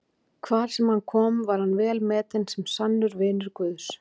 Hvar sem hann kom var hann velmetinn sem sannur vinur Guðs.